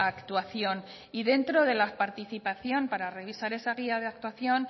actuación y dentro de la participación para revisar esa guía de actuación